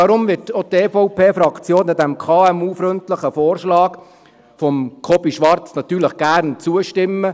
Deshalb wird auch die EVPFraktion diesem KMU-freundlichen Vorschlag von Kobi Schwarz natürlich gern zustimmen.